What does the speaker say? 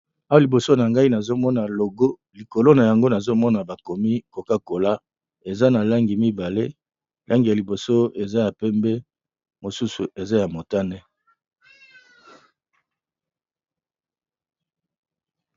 Awa liboso na ngai, nazali bongo komona logo oyo ezali bongo ya coca cola